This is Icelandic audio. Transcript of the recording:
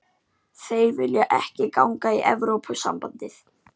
Þeir vilja ekki ganga í Evrópusambandið